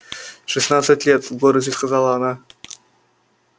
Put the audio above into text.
шестнадцать лет с гордостью сказала она